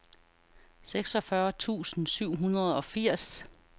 seksogfyrre tusind syv hundrede og firs